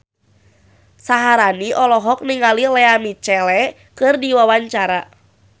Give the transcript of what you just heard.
Syaharani olohok ningali Lea Michele keur diwawancara